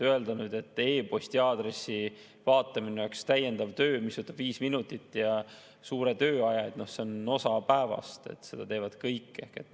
Öelda, et e-posti vaatamine oleks täiendav töö, mis võtab viis minutit ja suure tööaja – see on osa päevast, seda teevad kõik.